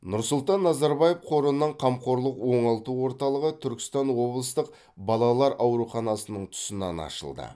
нұрсұлтан назарбаев қорының қамқорлық оңалту орталығы түркістан облыстық балалар ауруханасының тұсынан ашылды